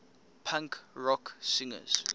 punk rock singers